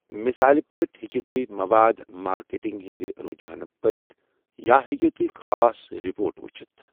مثال پٲٹھۍ ہٮ۪کِو تُہۍ مواد مارکیٹنگہِ ہِنٛدۍ رجحانہٕ پٔرِتھ، یا ہٮ۪کِو تُہۍ خاص رپورٹہٕ ؤچھِتھ ۔